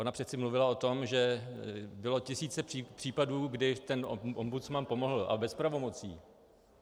Ona přece mluvila o tom, že bylo tisíce případů, kdy ten ombudsman pomohl, a bez pravomocí.